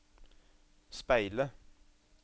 speile